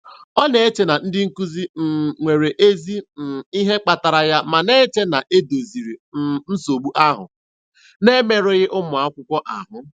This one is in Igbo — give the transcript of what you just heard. Ọ na-eche na ndị nkuzi um nwere ezi um ihe kpatara ya ma na-eche na e doziri um nsogbu ahụ na-emerụghị ụmụakwụkwọ ahụ.